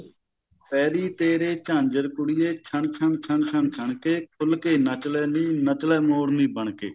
ਪੈਰੀ ਤੇਰੇ ਝਾਜਰ ਕੁੜੀਏ ਛੰਨ ਛੰਨ ਛੰਨ ਛੰਨ ਛੰਨਕੇ ਖੁੱਲ ਕੇ ਨੱਚਲੇ ਨੀ ਨੱਚਲਾ ਮੋਰਨੀ ਬਣਕੇ